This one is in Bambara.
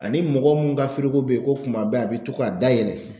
Ani mɔgɔ mun ka firigo be yen ko kuma bɛɛ a be to ka dayɛlɛ